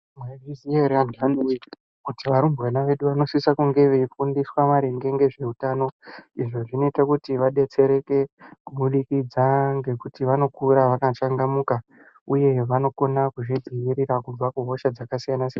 Mwaizviziya ere vantani wee ,kuti varumbwana vedu vanosisa kunge veifundiswa maringe ngezveutano? Izvo zvinoita kuti vadetsereke kubudikidza ngekuti vanokura vakachangamuka uye vanokona kuzvidzivirira kubva kuhosha dzakasiyana siyana.